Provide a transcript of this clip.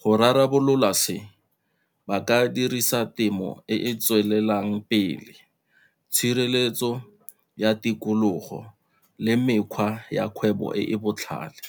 Go rarabolola se ba ka dirisa temo e e tswelelang pele, tshireletso ya tikologo le mekgwa ya kgwebo e e botlhale.